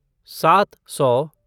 सात सौ